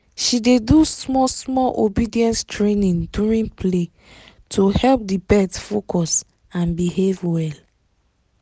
she dey do small small obedience training during play to help the pet focus and behave well